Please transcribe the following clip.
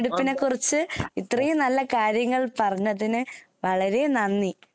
തെരഞ്ഞെടുപ്പിനെ കുറിച്ച് ഇത്രയും നല്ല കാര്യങ്ങൾ പറഞ്ഞതിന് വളരെ നന്ദി